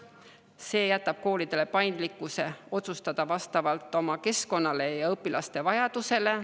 See jätab koolidele võimaluse otsustada seda paindlikult, vastavalt oma keskkonnale ja õpilaste vajadusele.